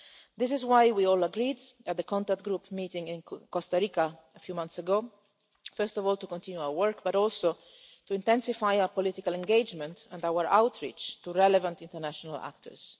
This is why we all agreed, at the contact group meeting in Costa Rica a few months ago, first of all to continue our work, but also to intensify our political engagement and our outreach to relevant international actors.